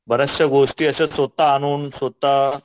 बऱ्याचशा गोष्टी मी स्वतः आणून स्वतः